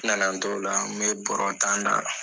Na na n to o la n bɛ bɔrɔ tan da.